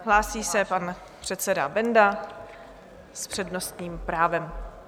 Hlásí se pan předseda Benda s přednostním právem.